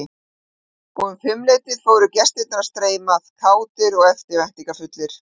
Og um fimmleytið fóru gestirnir að streyma að, kátir og eftirvæntingarfullir.